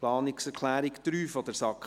Zur Planungserklärung 3 der SAK: